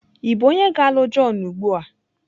Ị bụ onye ga-alụ John ugbu a?